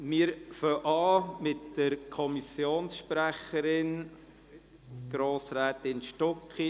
Wir beginnen mit der Kommissionssprecherin, Grossrätin Stucki.